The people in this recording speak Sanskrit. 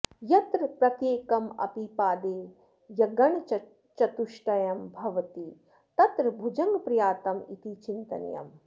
यत्र प्रत्येकम् अपि पादे यगणचतुष्टयं भवति तत्र भुजङ्गप्रयातम् इति चिन्तनीयम्